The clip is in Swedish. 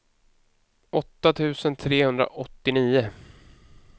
åtta tusen trehundraåttionio